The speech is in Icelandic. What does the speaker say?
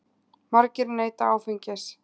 Margir neyta áfengis.